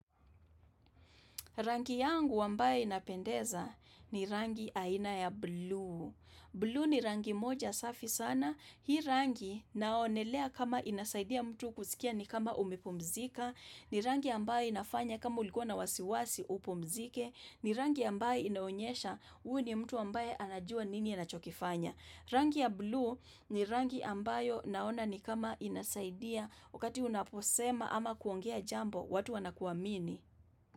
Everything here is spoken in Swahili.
Rangi yangu ambayo inapendeza ni rangi aina ya blue. Blue ni rangi moja safi sana. Hii rangi naonelea kama inasaidia mtu kusikia ni kama umepumzika. Ni rangi ambayo inafanya kama ulikuwa na wasiwasi upumzike. Ni rangi ambaye inaonyesha huu ni mtu ambaye anajua nini anachokifanya. Rangi ya blue ni rangi ambayo naona ni kama inasaidia wakati unaposema ama kuongea jambo watu wanakuamini.